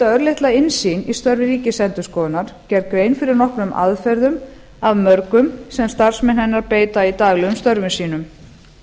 örlitla innsýn í störf ríkisendurskoðunar gerð grein fyrir nokkrum aðferðum af mörgum sem starfsmenn hennar beita í daglegum störfum sínum